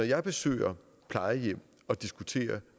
jeg besøger plejehjem og diskuterer